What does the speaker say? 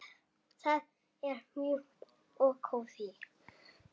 Það er mjúkt og kósí.